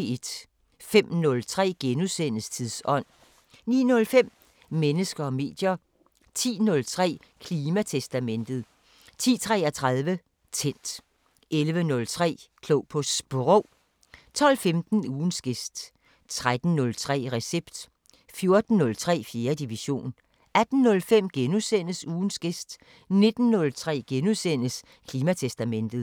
05:03: Tidsånd * 09:05: Mennesker og medier 10:03: Klimatestamentet 10:33: Tændt 11:03: Klog på Sprog 12:15: Ugens gæst 13:03: Recept 14:03: 4. division 18:05: Ugens gæst * 19:03: Klimatestamentet *